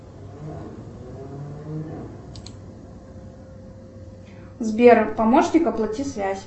сбер помощник оплати связь